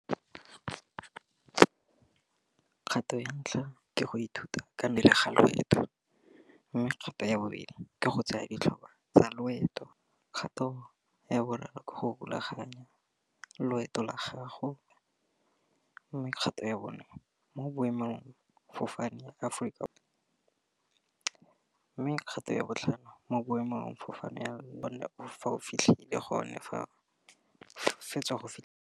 Kgato ya ntlha ke go ithuta ka ga loeto, mme kgato ya bobedi ke go tsaya ditlhopha tsa loeto, kgato ya boraro ke go rulaganya loeto la gago, mme kgato ya bone mo boemong fofane ya Aforika, mme kgato ya botlhano mo boemong fofane ya bona fa o fitlhele gone fa o fetsa go.